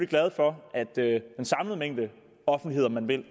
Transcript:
glade for at den samlede mængde offentlighed om man vil